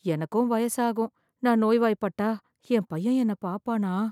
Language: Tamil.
எனக்கும் வயசாகும், நான் நோய்வாய்பட்டா என் பையன் என்ன பாப்பானா?